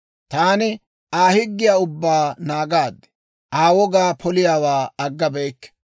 Taani Aa higgiyaa ubbaa naagaad; Aa wogaa poliyaawaa aggabeyikke.